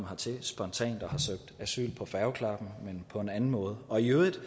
hertil spontant og har søgt asyl på færgeklappen men på en anden måde og i øvrigt